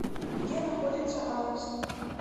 где находится аист